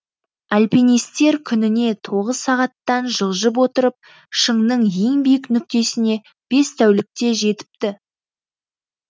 альпинистер күніне тоғыз сағаттан жылжып отырып шыңның ең биік нүктесіне бес тәулікте жетіпті